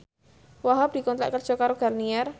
Wahhab dikontrak kerja karo Garnier